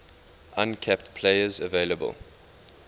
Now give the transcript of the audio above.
uncapped players available